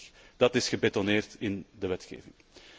26. Dat is gebetonneerd in de wetgeving.